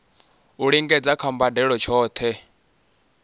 u lingedza kha mbadelo tshohe